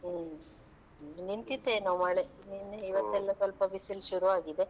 ಹ್ಮ್ ಇನ್ನು ನಿಂತಿತ್ತೇನೋ ಮಳೆ ನಿನ್ನೆ ಇವತ್ತೆಲ್ಲಾ ಸ್ವಲ್ಪ ಬಿಸಿಲು ಶುರು ಆಗಿದೆ.